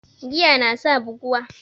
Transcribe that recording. Giya nasa buguwa